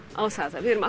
á það að við erum